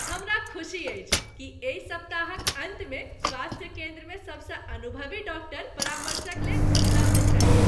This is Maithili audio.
हमरा खुशी अछि कि एहि सप्ताहक अन्तमे स्वास्थ्य केन्द्रमे सबसँ अनुभवी डॉक्टर परामर्शक लेल उपलब्ध छथि ।